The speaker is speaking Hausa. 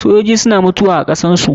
Sojoji suna mutuwa wa kasar su.